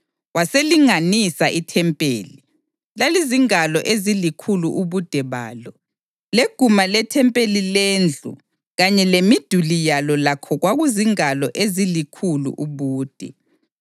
Waselinganisa ithempeli; lalizingalo ezilikhulu ubude balo, leguma lethempeli lendlu kanye lemiduli yalo lakho kwakuzingalo ezilikhulu ubude.